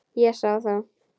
Ég sá það.